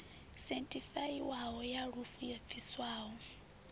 sethifaiwaho ya lufu yo bviswaho